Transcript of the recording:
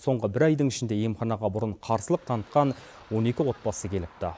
соңғы бір айдың ішінде емханаға бұрын қарсылық танытқан он екі отбасы келіпті